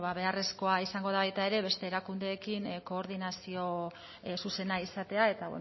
bueno ba beharrezkoa izango da baita ere beste erakundeekin koordinazio zuzena izatea eta